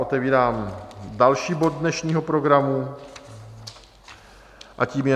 Otevírám další bod dnešního programu a tím je